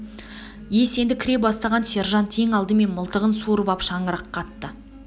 ес енді кіре бастаған сержант ең алдымен мылтығын суырып ап шаңыраққа атты